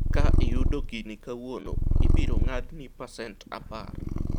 ka iyudo gini kawuono, ibiro ng'adni pacent apar